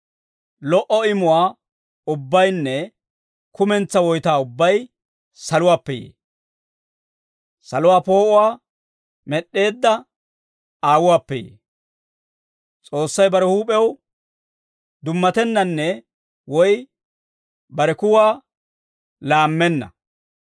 Lo"o imuwaa ubbaynne kumentsaa woytaa ubbay saluwaappe yee. Saluwaa poo'uwaa med'd'eedda Aawuwaappe yee; S'oossay bare huup'ew dummatennanne woy bare kuwaa laammenna.